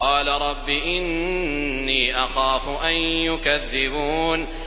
قَالَ رَبِّ إِنِّي أَخَافُ أَن يُكَذِّبُونِ